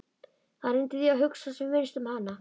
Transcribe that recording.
Hann reyndi því að hugsa sem minnst um hana.